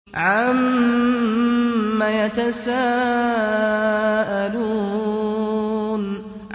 عَمَّ يَتَسَاءَلُونَ